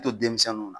To denmisɛnninw na